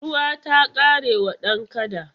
Ruwa ta ƙare wa dan kada.